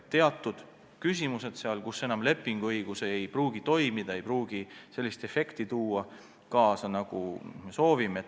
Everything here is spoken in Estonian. On teatud küsimused, mille puhul lepinguõigus ei pruugi toimida, ja siis ei teki sellist efekti, nagu me soovime.